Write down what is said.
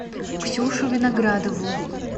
ксюшу виноградову